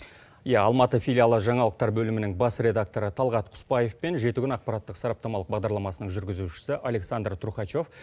иә алматы филиалы жаңалықтар бөлімінің бас редакторы талғат құспаев пен жеті күн ақпараттық сараптамалық бағдарламасының жүргізушісі александр трухачев